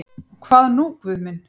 Og hvað nú Guð minn?